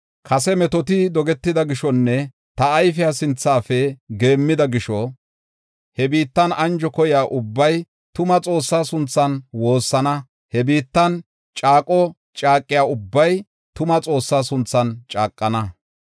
Kase metoti dogetida gishonne ta ayfiya sinthafe geemmida gisho he biittan anjo koyiya ubbay tuma Xoossaa sunthan woossana. He biittan caaqo caaqiya ubbay tuma Xoossaa sunthan caaqana.